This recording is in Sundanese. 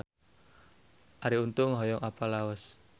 Arie Untung hoyong apal Laos